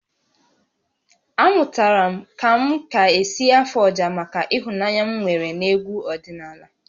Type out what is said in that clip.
Amụtara m ka m ka-esi afụ ọjà maka ịhụnanya m nwere n'egwu ọdịnala